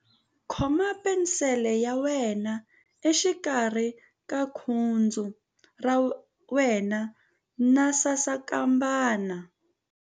Khoma penisele ya wena exikarhi ka khudzu ra wena na sasankambana.ingana na ya mina.